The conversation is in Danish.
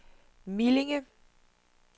Millinge